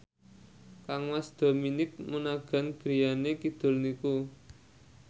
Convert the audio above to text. kangmas Dominic Monaghan griyane kidul niku